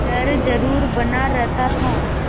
डर जरुर बना रहता था